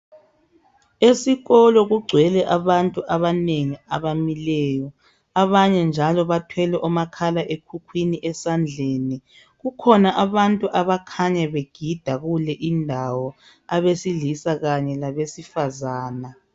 esikolo kugcwele abantu abanengi abamileyo abanye njalo bathwele omakhala ekhukhwini esandleni kukhona abantu abakhanya begida kule indawo abesilisa kanye labesifazana